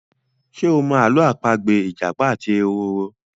Ṣe o mọ Àló̩ àpagbè ìjàpá àti ehoro?